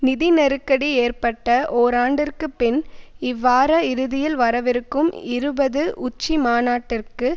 நிதி நெருக்கடி ஏற்பட்ட ஓராண்டிற்குப் பின் இவ்வார இறுதியில் வரவிருக்கும் இருபது உச்சிமாநாட்டிற்கு